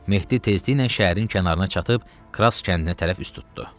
Mehdi tezliklə şəhərin kənarına çatıb Kras kəndinə tərəf üz tutdu.